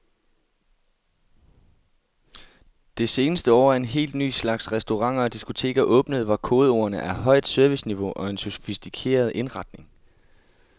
Det seneste år er en helt ny slags restauranter og diskoteker åbnet, hvor kodeordene er højt serviceniveau og en sofistikeret indretning.